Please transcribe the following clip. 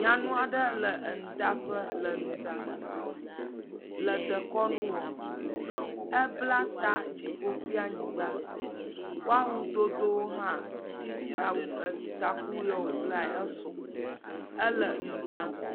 Nyɔnu aɖe le enuɖaƒe le enu ɖaa. Le dekɔnu wɔ ebla ta dziƒo kple anyigba. Woawo dodowo wo hã takkuyiwo woblae esɔ. Ele nu ɖaa.